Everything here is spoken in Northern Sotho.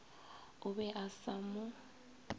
o be o sa mo